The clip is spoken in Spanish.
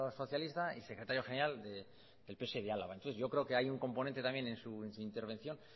socialista y secretario general del pse de álava entonces yo creo que hay un componente también en su intervención